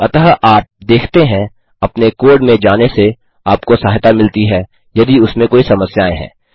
अतः आप देखते हैं अपने कोड में जाने से आपको सहायता मिलती है यदि उसमें कोई समस्याएँ हैं